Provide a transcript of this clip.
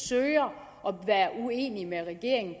søger at være uenige med regeringen